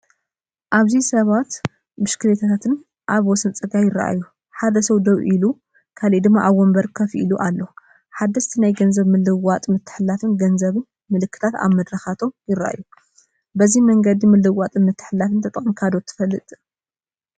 ኣብዚ ሰባትን ብሽክለታታትን ኣብ ወሰን ጽርግያ ይረኣዩ። ሓደ ሰብ ደው ኢሉ፡ ካልእ ድማ ኣብ መንበር ኮፍ ኢሉ ኣሎ። ሓደስቲ ናይ ገንዘብ ምልውዋጥን ምትሕልላፍ ገንዘብን ምልክታት ኣብ መድረኻቶም ይረኣዩ። በዚ መንገዲ ምልውዋጥን ምትሕልላፍ ተጠቂመካ ዶ ትፈለጥ?